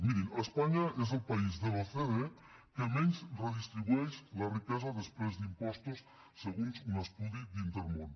mirin espanya és el país de l’ocde que menys redistribueix la riquesa després d’impostos segons un estudi d’intermón